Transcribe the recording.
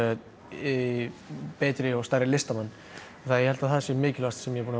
í betri og stærri listamann ég held að það sé mikilvægast sem ég er búinn